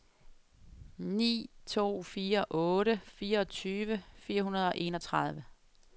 ni to fire otte fireogtyve fire hundrede og enogtredive